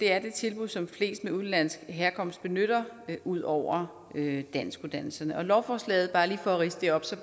er det tilbud som flest med udenlandsk herkomst benytter ud over danskuddannelserne lovforslaget bare lige at ridse det op af